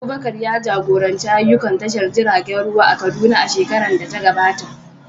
Abubakar ya jagoranci ayyukan tashar jiragen ruwa a Kaduna a shekarar da ta gabata.